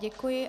Děkuji.